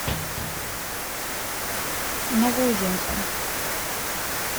новоузенску